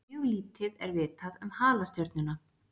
Mjög lítið er vitað um halastjörnuna.